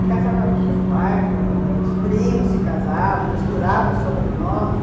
E casava muito pai, com com os primos se casavam, misturavam sobrenomes.